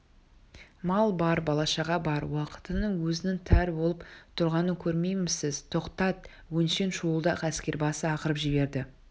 мал бар бала-шаға бар уақыттың өзінің тар боп тұрғанын көрмеймісіз тоқтат өңшең шуылдақ әскербасы ақырып жіберді